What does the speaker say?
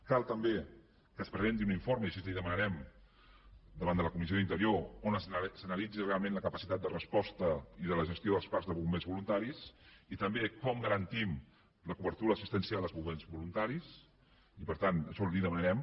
cal també que es presenti un informe i així li ho demanarem davant de la comissió d’interior on s’analitzi realment la capacitat de resposta i de la gestió dels parcs de bombers voluntaris i també com garantim la cobertura assistencial dels bombers voluntaris i per tant això li ho demanarem